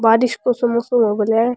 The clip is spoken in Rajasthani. बारिश को सो मौसम हो गया है।